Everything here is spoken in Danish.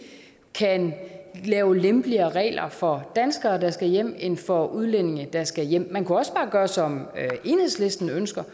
kan lave lempeligere regler for danskere der skal hjem end for udlændinge der skal hjem man kunne også bare gøre som enhedslisten ønsker